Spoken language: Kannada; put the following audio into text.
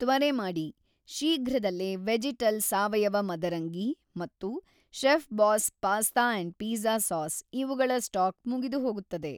ತ್ವರೆ ಮಾಡಿ, ಶೀಘ್ರದಲ್ಲೇ ವೆಜೆಟಲ್ ಸಾವಯವ ಮದರಂಗಿ ಮತ್ತು Chefboss pasta and pizza sauce ಇವುಗಳ ಸ್ಟಾಕ್‌ ಮುಗಿದುಹೋಗುತ್ತದೆ.